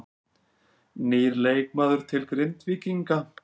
Nýr leikmaður til Grindvíkinga